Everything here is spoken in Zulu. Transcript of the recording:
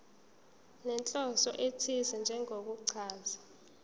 nenhloso ethize njengokuchaza